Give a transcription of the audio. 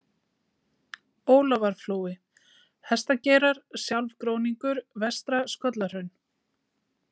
Ólafarflói, Hestageirar, Sjálfgróningur, Vestra-Skollahraun